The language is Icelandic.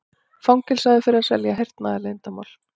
Fangelsaður fyrir að selja hernaðarleyndarmál